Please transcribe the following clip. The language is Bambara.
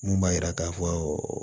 Mun b'a yira k'a fɔ